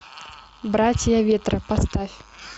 братья ветра поставь